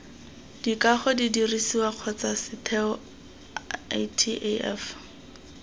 dikago didirisiwa kgotsa setheo ataf